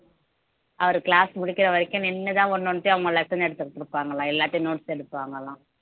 அவரு class முடிக்கிற வரைக்கும் நின்னுதான் ஒண்ணு ஒண்ணுத்தையும் அவங்க lesson எடுத்து கொடுப்பாங்களாம் எல்லாத்தையும் notes எடுப்பாங்களாம்